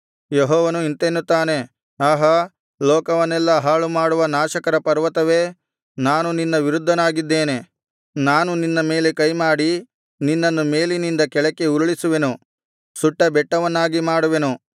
ಯೆಹೋವನು ಇಂತೆನ್ನುತ್ತಾನೆ ಆಹಾ ಲೋಕವನ್ನೆಲ್ಲಾ ಹಾಳುಮಾಡುವ ನಾಶಕರ ಪರ್ವತವೇ ನಾನು ನಿನ್ನ ವಿರುದ್ಧನಾಗಿದ್ದೇನೆ ನಾನು ನಿನ್ನ ಮೇಲೆ ಕೈಮಾಡಿ ನಿನ್ನನ್ನು ಮೇಲಿನಿಂದ ಕೆಳಕ್ಕೆ ಉರುಳಿಸುವೆನು ಸುಟ್ಟ ಬೆಟ್ಟವನ್ನಾಗಿ ಮಾಡುವೆನು